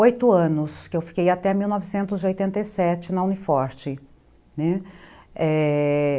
oito anos que eu fiquei até mil novecentos e oitenta e sete na Uni Forte, né, é...